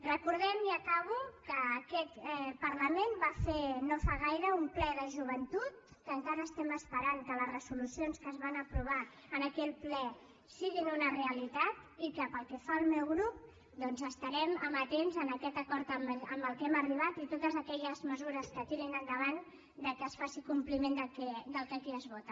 recordem i acabo que aquest parlament va fer no fa gaire un ple de joventut que encara estem esperant que les resolucions que es van aprovar en aquell ple siguin una realitat i que pel que fa al meu grup doncs estarem amatents a aquest acord a què hem arribat i en totes aquelles mesures que tirin endavant que es faci compliment del que aquí es vota